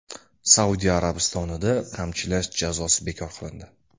Saudiya Arabistonida qamchilash jazosi bekor qilindi.